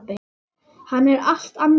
Hann er allt annar maður.